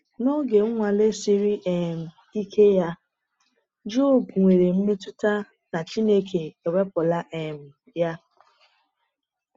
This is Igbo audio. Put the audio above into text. N’oge nnwale siri um ike ya, Jọb nwere mmetụta na Chineke ewepụla um ya.